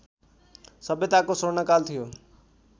सभ्यताको स्वर्णकाल थियो